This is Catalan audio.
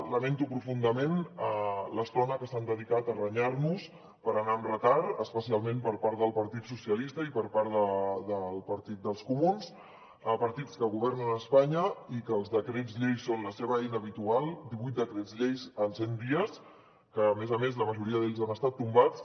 lamento profundament l’estona que s’han dedicat a renyar nos per anar amb retard especialment per part del partit socialistes i per part del partit dels comuns partits que governen a espanya i que els decrets llei són la seva eina habitual divuit decrets llei en cent dies que a més a més la majoria d’ells han estat tombats